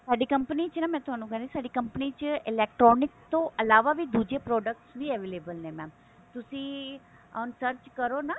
ਸਾਡੀ company ਚ ਨਾ ਮੈਂ ਥੋਨੂੰ ਕਹਿਣੀ ਸਾਡੀ company ਚ ਨਾ electronic ਤੋਂ ਇਲਾਵਾ ਵੀ ਦੁੱਜੇ product ਵੀ available ਨੇ mam ਤੁਸੀਂ ਹੁਣ search ਕਰੋ ਨਾ